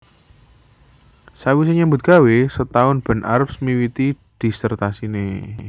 Sawise nyambut gawé sataun Ben Arps miwiti dhisertasiné